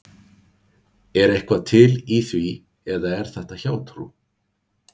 Er eitthvað til í því eða er þetta hjátrú?